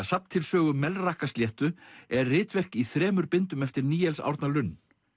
safn til sögu Melrakkasléttu er ritverk í þremur bindum eftir Níels Árna Lund